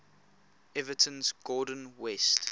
everton's gordon west